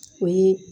O ye